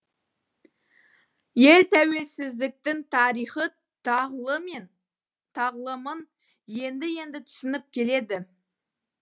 ел тәуелсіздіктің тарихы тағлымын енді енді түсініп келеді